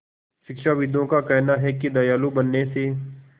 शिक्षाविदों का कहना है कि दयालु बनने से